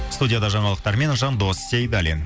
студияда жаңалықтармен жандос сейдаллин